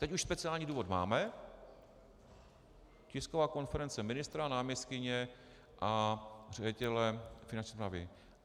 Teď už speciální důvod máme - tisková konference ministra, náměstkyně a ředitele Finanční správy.